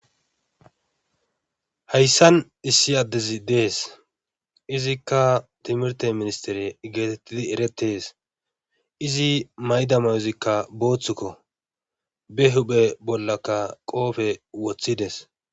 Hayssan issi addezi dees izikka timirtte ministtere geeteettidi erettees izi mayida mayozikka boothuko be huuphe bollaka qoofe wothides.